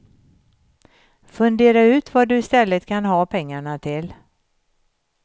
Fundera ut vad du istället kan ha pengarna till.